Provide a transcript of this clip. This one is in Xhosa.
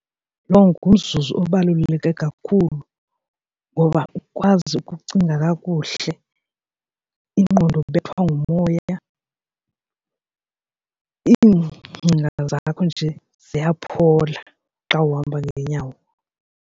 Lo ngumzuzu obaluleke kakhulu ngoba ukwazi ukucinga kakuhle ingqondo ibethwa ngumoya, iingcinga zakho nje ziyaphola xa uhamba ngeenyawo.